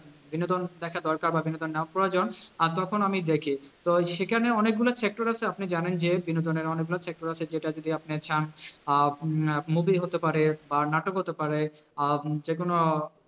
বিনোদন দেখা দরকার বা বিনোদন নেওয়া প্রয়োজন আর তখন আমি দেখি, তো সেখানে অনেকগুলো sector আছে আপনি জানেন যে বিনোদনের অনেকগুলো sector আছে যেটা যদি আপনি চান আহ আহ movie হতে পারে বা নাটক হতে পারে বা যেকোনো